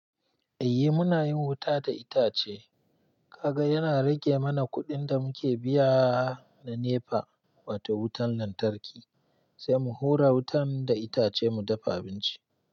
Eh munayin wuta da itace. Kaga yana rage mana kuɗin da muke biya na NEPA wato wutan lantarki, sai mu hura wutan da itace mu dafa abinci.